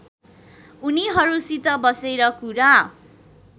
उनीहरूसित बसेर कुरा